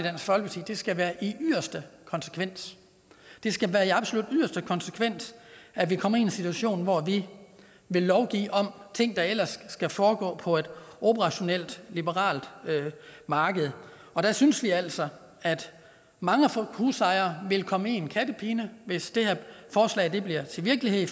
det skal være i yderste konsekvens det skal være i absolut yderste konsekvens at vi kommer i en situation hvor vi vil lovgive om ting der ellers skal foregå på et operationelt liberalt marked og der synes vi altså at mange husejere vil komme i en kattepine hvis det her forslag bliver til virkelighed